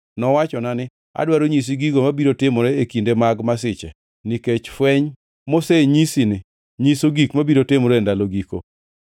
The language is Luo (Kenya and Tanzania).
Nowacho ni: “Adwaro nyisi gigo mabiro timore e kinde mag masiche, nikech fweny mosenyisini nyiso gik mabiro timore e ndalo giko.